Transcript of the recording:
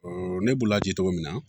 ne b'u ladi cogo min na